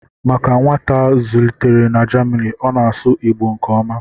Maka nwata a zụlitere na Jamanị, ọ na-asụ Igbo nke ọma